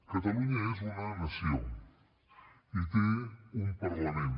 catalunya és una nació i té un parlament